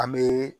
An bɛ